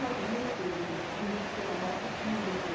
Nós íamos, que existia na moca o Cine Ouro